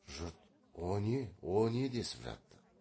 жұрт о не о не десіп жатты